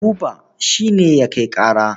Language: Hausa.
Buba shi ne ya kai ƙara.